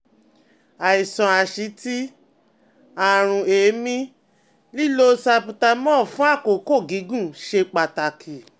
Àìsàn asítì, àrùn èémí, lílo Salbutamol fún àkókò gígùn ṣe pàtàkì?